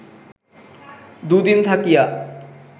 দুদিন থাকিয়া